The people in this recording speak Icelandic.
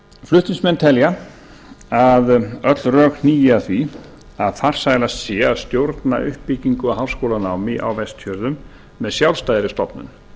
flutningsmenn telja að öll rök eigi að því að farsælast sé að stjórna uppbyggingu á háskólanámi á vestfjörðum með sjálfstæðri stofnun